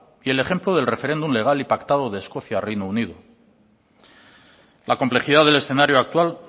y el ejemplo del referéndum legal y pactado de escocia reino unido la complejidad del escenario actual